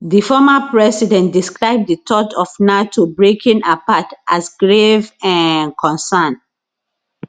di former president describe di thought of nato breaking apart as grave um concern